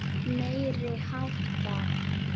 Meiri háttar.